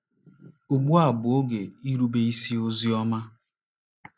Ugbu a Bụ Oge “Irube Isi Ozi Ọma”